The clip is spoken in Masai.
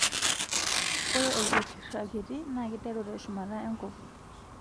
Ore orketira kiti naa kiteru tee shumata enkop